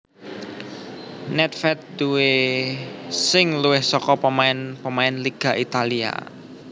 Nèdvèd duwè sing luwih saka pemain pemain Liga Italia